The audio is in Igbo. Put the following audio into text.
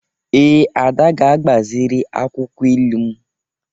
Ee, Ada ga-agbaziri akwụkwọ ilu m.